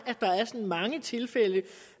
mange tilfælde